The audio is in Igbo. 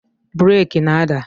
Breeki na-ada